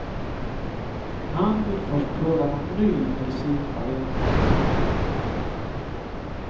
Han vill först pröva någon ny medicinvariant.